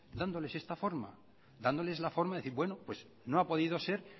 dándoles esta forma dándoles esa forma de decir bueno no ha podido ser